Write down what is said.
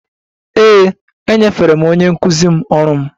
Ee, enyefere m onye nkụzi m ọrụ m